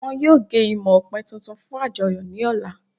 Wọn yóò gé imọ̀ ọ̀pẹ̀ tuntun fun àjọyọ̀ ni ọ̀la